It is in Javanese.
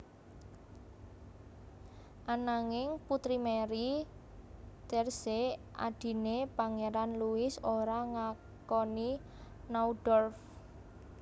Ananging Putri Marie Thérèse adhiné Pangéran Louis ora ngakoni Naundorff